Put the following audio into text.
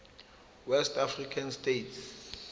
west african states